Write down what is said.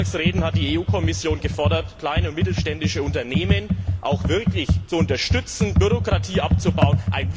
In vielen Sonntagsreden hat die EU Kommission gefordert, kleine und mittelständische Unternehmen auch wirklich zu unterstützen und Bürokratie abzubauen.